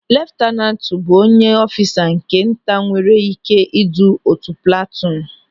Leftanantu bụ onye ọfisa nke nta nwere ị́ké idu otu platuun.